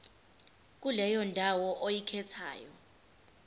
kuleyo ndawo oyikhethayo